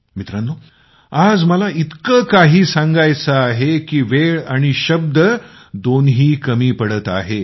मित्रांनो आज मला इतकं काही सांगायचं आहे की वेळ आणि शब्द दोन्ही कमी पडत आहेत